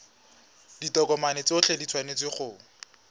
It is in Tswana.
ditokomane tsotlhe di tshwanetse go